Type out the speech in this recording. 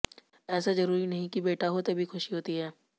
ऐसा जरूरी नहीं कि बेटा हो तभी खुशी होती है